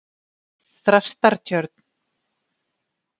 Þrastartjörn